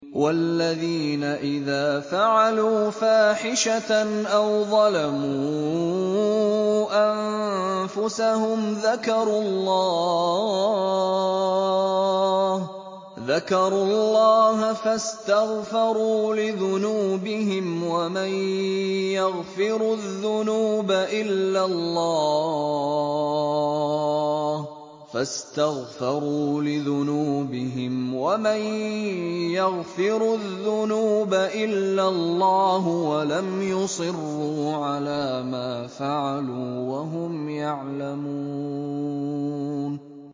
وَالَّذِينَ إِذَا فَعَلُوا فَاحِشَةً أَوْ ظَلَمُوا أَنفُسَهُمْ ذَكَرُوا اللَّهَ فَاسْتَغْفَرُوا لِذُنُوبِهِمْ وَمَن يَغْفِرُ الذُّنُوبَ إِلَّا اللَّهُ وَلَمْ يُصِرُّوا عَلَىٰ مَا فَعَلُوا وَهُمْ يَعْلَمُونَ